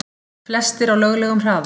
Flestir á löglegum hraða